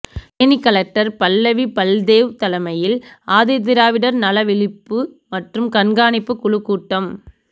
Theni collector Pallavi Baldev தலைமையில் ஆதிதிராவிடர் நல விழிப்பு மற்றும் கண்காணிப்பு குழுக்கூட்டம்